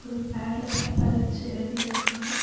ஒரு பேட்ல பேப்பர் வச்சு எழுதிட்டு இருக்காங்க.